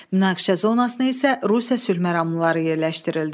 Münaqişə zonasına isə Rusiya sülhməramlıları yerləşdirildi.